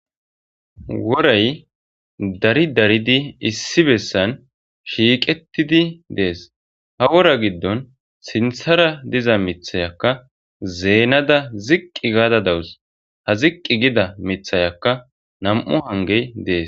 Woray dari daridi issi bessan shiiqetidi de'es ha wora giddon sinththara diza miththiyaka zeenada ziqi gaada dawus ha ziqi gida miithaykka nam'u hanggey dees.